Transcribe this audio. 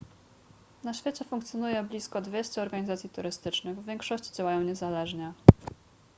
na świecie funkcjonuje blisko 200 organizacji turystycznych w większości działają niezależnie